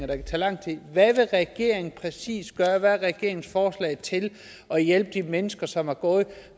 kan tage lang tid hvad vil regeringen præcis gøre hvad er regeringens forslag til at hjælpe de mennesker som har gået